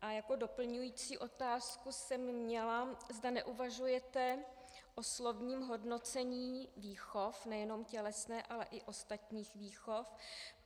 A jako doplňující otázku jsem měla, zda neuvažujete o slovním hodnocení výchov, nejenom tělesné, ale i ostatních výchov,